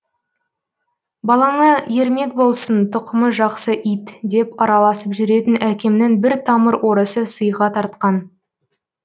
балаңа ермек болсын тұқымы жақсы ит деп араласып жүретін әкемнің бір тамыр орысы сыйға тартқан